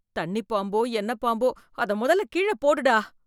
தண்ணிப் பாம்போ, என்ன பாம்போ அத முதல்ல கீழப் போடுடா.